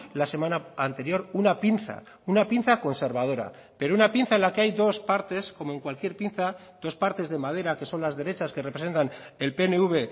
la semana anterior una pinza una pinza conservadora pero una pinza en la que hay dos partes como en cualquier pinza dos partes de madera que son las derechas que representan el pnv